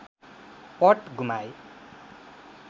पट गुमाए